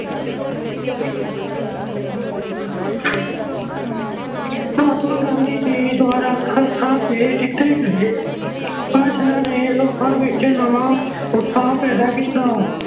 ਮਹਾਤਮਾ ਗਾਂਧੀ ਜੀ ਦੁਆਰਾ ਹਰ ਥਾਂ ਤੇ ਦਿੱਤੇ ਗਏ ਭਾਸ਼ਣਾਂ ਨੇ ਲੋਕਾਂ ਵਿੱਚ ਨਵਾਂ ਉਤਸ਼ਾਹ ਪੈਦਾ ਕੀਤਾ।